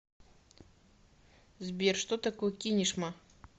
сбер что такое кинешма